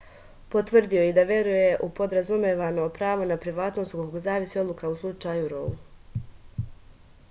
potvrdio je i da veruje u podrazumevano pravo na privatnost od kog zavisi odluka u slučaju rou